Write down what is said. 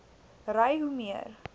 ry hoe meer